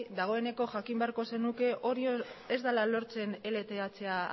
dagoeneko jakin beharko zenuke hori ez dela lortzen ltha